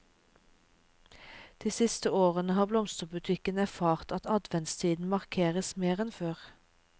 De siste årene har blomsterbutikken erfart at adventstiden markeres mer enn før.